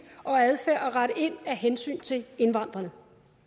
og adfærd og at rette ind af hensyn til indvandrerne